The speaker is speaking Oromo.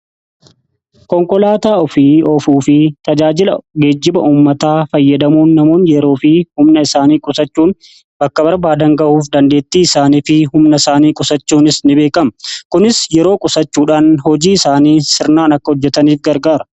konkolaataa ofii ofuu fi tajaajila geejjiba ummataa fayyadamuun namoonni yeroo fi humna isaanii qusachuun bakka barbaadan gahuuf dandeettii isaanii fi humna isaanii qusachuunis ni beekama. kunis yeroo qusachuudhaan hojii isaanii sirnaan akka hojjetaniif gargaara.